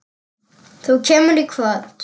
Þú kemur í kvöld!